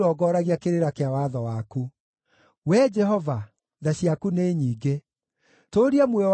Wee Jehova, tha ciaku nĩ nyingĩ; tũũria muoyo wakwa kũringana na mawatho maku.